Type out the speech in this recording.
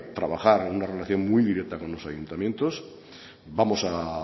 trabajar en una relación muy directa con los ayuntamientos vamos a